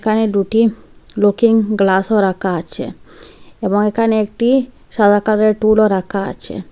এখানে দুটি লুকিং গ্লাসও রাকা আছে এবং এখানে একটি সাদা কালারের টুলও রাকা আছে।